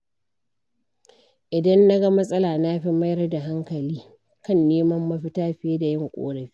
Idan na ga matsala, na fi mayar da hankali kan neman mafita fiye da yin ƙorafi.